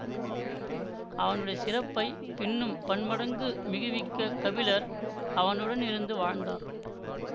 அவனுடைய சிறப்பை பின்னும் பன்மடங்கு மிகுவிக்கக் கபிலர் அவனுடன் இருந்து வாழ்ந்தார்